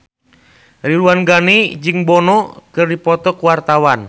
Ridwan Ghani jeung Bono keur dipoto ku wartawan